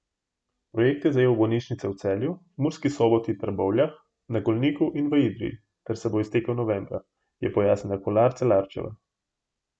Projekt je zajel bolnišnice v Celju, Murski Soboti, Trbovljah, na Golniku in v Idriji ter se bo iztekel novembra, je pojasnila Kolar Celarčeva.